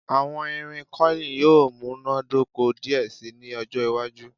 Awọn irin curling yoo munadoko diẹ sii ni ọjọ iwaju